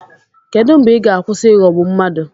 Kedụ mgbe ị ga-akwụsị ịghọgbu mmadụ?